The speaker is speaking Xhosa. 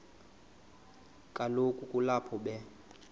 kaloku kulapho be